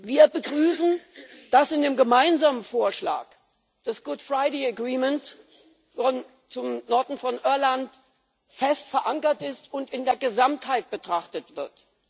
Wir begrüßen, dass in dem gemeinsamen Vorschlag das Karfreitagsabkommen zum Norden von Irland fest verankert ist und in der Gesamtheit betrachtet wird.